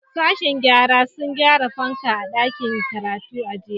Sashen gyara sun gyara fanka a dakin karatu a jiya.